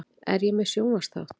Er ég með sjónvarpsþátt?